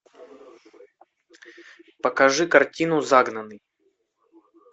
покажи картину загнанный